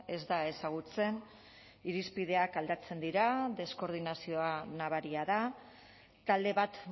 ez da ezagutzen irizpideak aldatzen dira deskordinazioa nabaria da talde bat